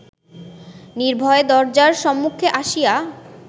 নির্ভয়ে দরজার সম্মুখে আসিয়া